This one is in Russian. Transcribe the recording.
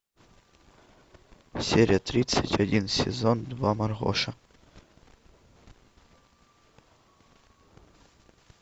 серия тридцать один сезон два маргоша